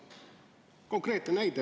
Konkreetne näide.